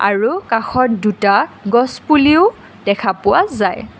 আৰু কাষত দুটা গছপুলিও দেখা পোৱা যায়।